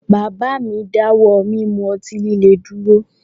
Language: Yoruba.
Bàbá mi dáwọ́ mí mú ọtí líle dúró